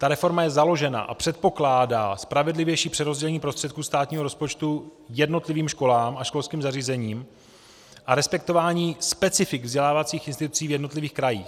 Ta reforma je založena a předpokládá spravedlivější přerozdělení prostředků státního rozpočtu jednotlivým školám a školským zařízením a respektování specifik vzdělávacích institucí v jednotlivých krajích.